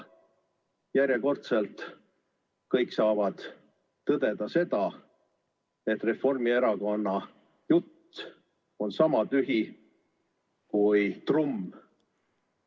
Järjekordselt saavad kõik tõdeda, et Reformierakonna jutt on sama tühi kui trumm.